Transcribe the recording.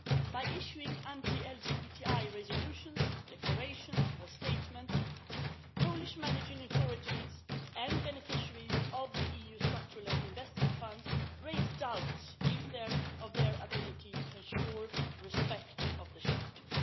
By issuing anti LGBTI resolutions, declarations or statements, Polish managing authorities and beneficiaries of the EU Structural Investment Funds raise doubts of their ability to ensure respect of the Charter.